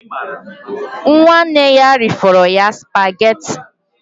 Nwanne ya rifọrọ ya spageti